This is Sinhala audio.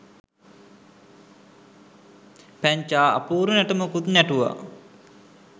පැංචා අපූරු නැටුමකුත් නැටුවා.